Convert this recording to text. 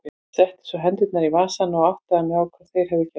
Ég setti svo hendurnar í vasana og áttaði mig á hvað þeir höfðu gert.